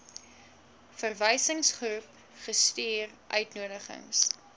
verwysingsgroep gestuur uitnodigings